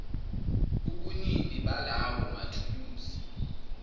ubunini balawo mathuluzi